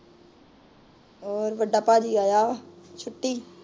ਹੋਰ ਵੱਡਾ ਭਾਜੀ ਆਇਆ ਛੁੱਟੀ